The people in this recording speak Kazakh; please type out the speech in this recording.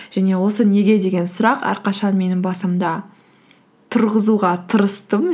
және осы неге деген сұрақ әрқашан менің басымда тұрғызуға тырыстым